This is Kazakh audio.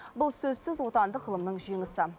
бұл сөзсіз отандық ғылымның жеңісі